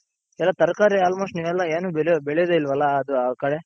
ಎಲ್ಲಾ ತರಕಾರಿ almost ನೀವೆಲ್ಲಾ ಏನು ಬೆಳೆಯೋದೇ ಇಲ್ವಲ್ಲ ಅದು ಆ ಕಡೆ?